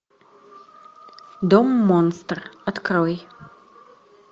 дом монстр открой